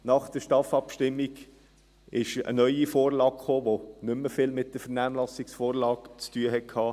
Nach der STAF-Abstimmung kam eine neue Vorlage, die nicht mehr viel mit der Vernehmlassungsvorlage zu tun hatte.